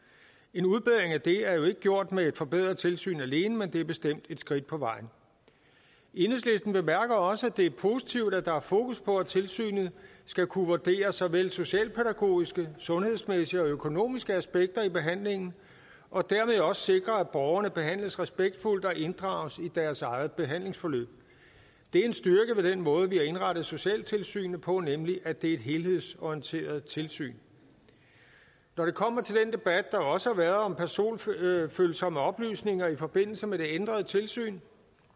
en udbedring af det er jo ikke gjort med et forbedret tilsyn alene men det er bestemt et skridt på vejen enhedslisten bemærker også at det er positivt at der er fokus på at tilsynet skal kunne vurdere såvel socialpædagogiske sundhedsmæssige og økonomiske aspekter i behandlingen og dermed også sikre at borgerne behandles respektfuldt og inddrages i deres eget behandlingsforløb det er en styrke ved den måde vi har indrettet socialtilsynene på nemlig at det er et helhedsorienteret tilsyn når det kommer til den debat der også har været om personfølsomme oplysninger i forbindelse med det ændrede tilsyn